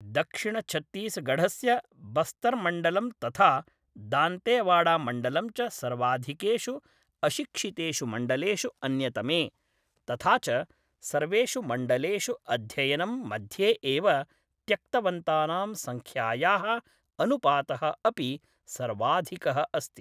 दक्षिणछत्तीसगढ़स्य बस्तर्मण्डलं तथा दान्तेवाडामण्डलं च सर्वाधिकेषु अशिक्षितेषु मण्डलेषु अन्यतमे, तथा च सर्वेषु मण्डलेषु अध्ययनं मध्ये एव त्यक्तवन्तानां सङ्ख्यायाः अनुपातः अपि सर्वाधिकः अस्ति।